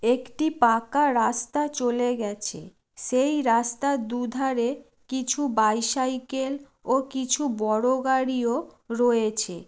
একটি পাকা রাস্তা চলে গেছে। সেই রাস্তা দুধারে কিছু বাইসাইকেল ও কিছু বড়ো গাড়িও রয়েছে।